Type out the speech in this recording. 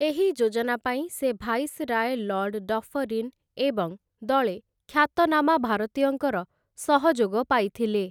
ଏହି ଯୋଜନା ପାଇଁ ସେ ଭାଇସରାୟ ଲର୍ଡ଼ ଡ଼ଫରିନ ଏବଂ ଦଳେ ଖ୍ୟାତନାମା ଭାରତୀୟଙ୍କର ସହଯୋଗ ପାଇଥିଲେ ।